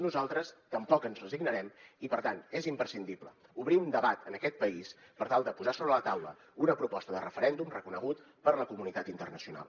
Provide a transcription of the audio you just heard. nosaltres tampoc ens resignarem i per tant és imprescindible obrir un debat en aquest país per tal de posar sobre la taula una proposta de referèndum reconegut per la comunitat internacional